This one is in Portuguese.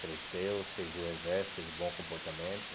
Cresceu, serviu o exército, teve bom comportamento.